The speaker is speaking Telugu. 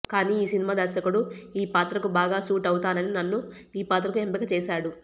కానీ ఈ సినిమా దర్శకుడు ఈ పాత్రకు బాగా సూట్ అవుతానని నన్ను ఈ పాత్రకు ఎంపిక చేశాడు